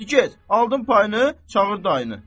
Di get, aldın payını, çağır dayını!